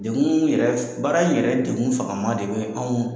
Degun yɛrɛ baara in yɛrɛ degun fagama de bɛ anw .